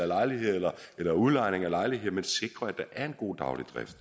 eller udlejning af lejligheder men sikrer at der er en god daglig drift